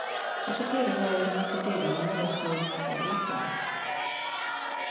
Þessar perur hafa verið nokkuð dýrar en virðast nú fara lækkandi.